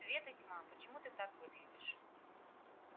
свет и тьма почему ты так выглядишь